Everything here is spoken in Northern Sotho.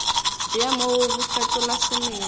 bja mo bo fetola semelo